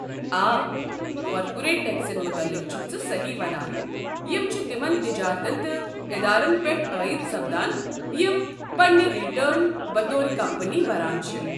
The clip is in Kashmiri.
آ، کارپوریٹ ٹٮ۪کسن متعلق چھُكھ ژٕ سہی ونان، یم چھِ تمن تجارتن تہٕ ادارن پیٹھ عٲید سپدان یم پنٕنۍ رِٹٔرن بطور كمپنی بھران چھِ۔